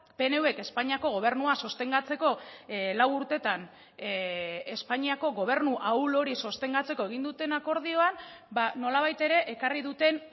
pnvk espainiako gobernua sostengatzeko lau urtetan espainiako gobernu ahul hori sostengatzeko egin duten akordioan nolabait ere ekarri duten